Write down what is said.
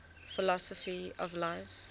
philosophy of life